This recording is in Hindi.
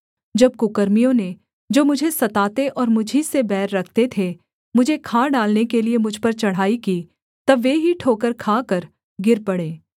जब कुकर्मियों ने जो मुझे सताते और मुझी से बैर रखते थे मुझे खा डालने के लिये मुझ पर चढ़ाई की तब वे ही ठोकर खाकर गिर पड़े